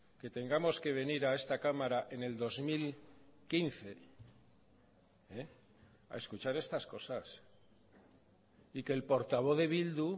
que tengamos que venir a esta cámara en el dos mil quince a escuchar estas cosas y que el portavoz de bildu